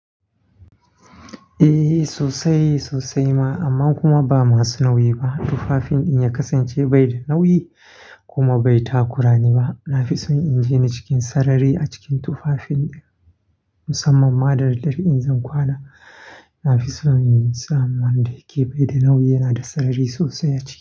Eh sosai sosai ma amma kuma ba masu nauyi ba. Tufafin in ya kasance bai da nauyi kuma bai takurani ba. Na fi son in jini cikin sarari a cikin tufafin musamman ma da daddare in zan kwana. Na fi son in samu wanda yake bai da nauyi yana da sarari sosai a ciki.